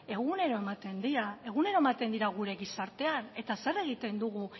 egunero ematen dira gure gizartean eta zer egiten dugu